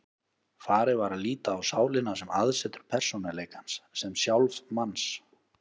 Farið var að líta á sálina sem aðsetur persónuleikans, sem sjálf manns.